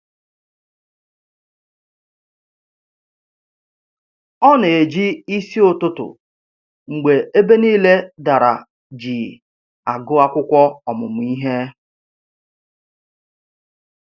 Ọ na-eji isi ụtụtụ mgbe ebe niile dara jii agụ akwụkwọ ọmụmụ ihe